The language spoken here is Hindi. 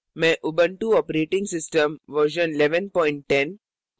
मैं उबंटु operating system version 1110